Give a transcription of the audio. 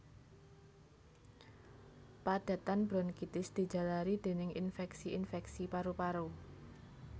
Padatan bronkitis dijalari dèning infèksi infèksi paru paru